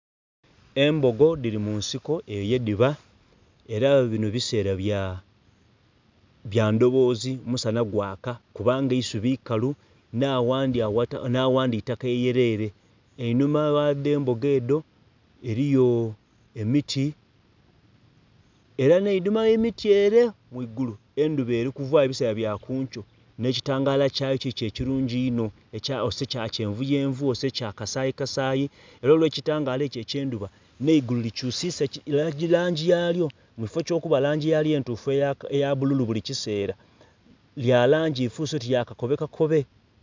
Embogo dhiri munsiko eyo yedhiba era binho bisera bya ndhoobozi musadha gwaaka kubanga eisubi ikalu nha ghaandhi itaka lyerere, einhuma gha dho embogo edho eriyo emiti era nhe einhuma ghe miti eree ghaigulu endhuba erikuvayo bisera bya kunkyo nhe kilagala lyato kikyo ekilungi einho, otise kya kyenvu kyenvu otise kya kasayisayi era olwe kilagala ekyo ekyendhuba nhe igulu li kyusisa langi yalyo. Mukifo kyo kuba langi yalyo eya bululu buli kisera ya langi efuse oti ya kakobe kakobe.